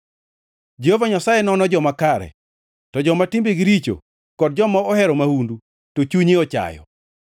Jehova Nyasaye nono joma kare, to joma timbegi richo kod joma ohero mahundu, to chunye ochayo.